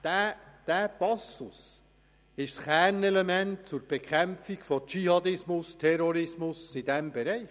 Dieser Passus ist das Kernelement zur Bekämpfung von Dschihadismus und Terrorismus in diesem Bereich.